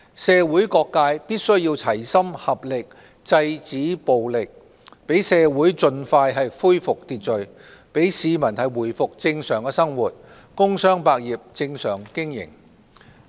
社會各界必須齊心合力制止暴力，讓社會盡快恢復秩序、讓市民回復正常的生活、工商百業正常經營。